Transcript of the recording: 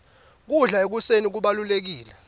kudla ekuseni kubalulekile